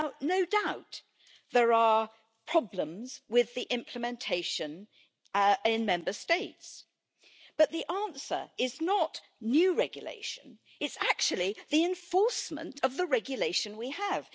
No doubt, there are problems with the implementation in Member States, but the answer is not new regulation, it is actually the enforcement of the regulation we have.